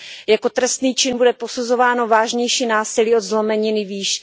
Jako trestný čin bude posuzováno vážnější násilí od zlomeniny výše.